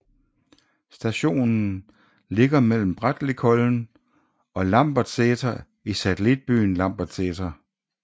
Stationen ligger mellem Brattlikollen og Lambertseter i satellitbyen Lambertseter